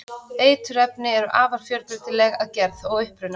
eiturefni eru afar fjölbreytileg að gerð og uppruna